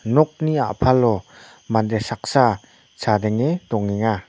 nokni a·palo mande saksa chadenge dongenga.